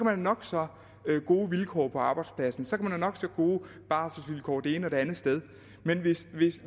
have nok så gode vilkår på arbejdspladsen så kan nok så gode barselsvilkår det ene og det andet sted men